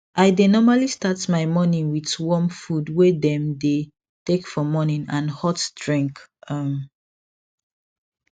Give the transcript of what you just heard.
i dae normally start my morning with warm food wae dem dae take for morning and hot drink um